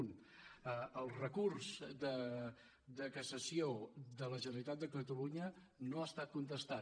un el recurs de cassació de la generalitat de catalunya no ha es·tat contestat